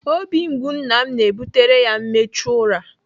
Obi mgbu nna m na-ebutere ya mmechu ụra.